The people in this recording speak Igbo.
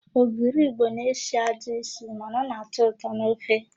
Ogiri Igbo na-esi ajọ ísì mana ọ na-atọ ụtọ n'ofe.